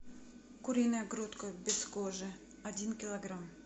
куриная грудка без кожи один килограмм